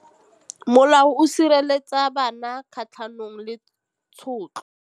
Molao o sireletsa bana kgatlhanong le tshotlo.